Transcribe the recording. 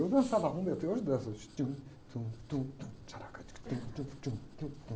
E eu dançava rumba, e até hoje danço,